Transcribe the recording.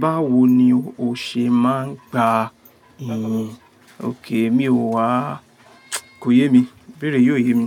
Báwo ni o ṣe máa ń gba iyì? Okay mi ò wàá, kò yé mi. Ìbéèrè yìí ò yé mi.